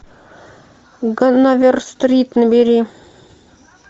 ганновер стрит набери